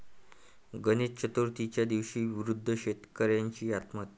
गणेश चतुर्थीच्या दिवशी वृद्ध शेतकऱ्याची आत्महत्या